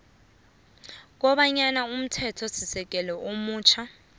kobanyana umthethosisekelo omutjha